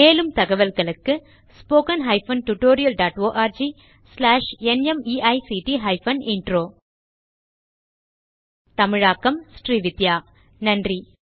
மேலும் தகவல்களுக்கு httpspoken tutorialorgNMEICT Intro தமிழாக்கம் srividhyaஸ் நன்றி